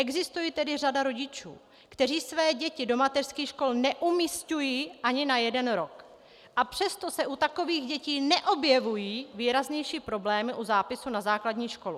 Existuje tedy řada rodičů, kteří své děti do mateřských škol neumisťují ani na jeden rok, a přesto se u takových dětí neobjevují výraznější problémy u zápisu na základní školu.